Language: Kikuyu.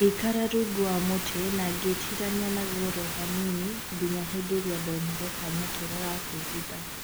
Ngĩikara rungu wa mũtĩ, na gwĩtirania naguo oro hanini, nginya hĩndĩ ndonire kanya kega gakwĩhitha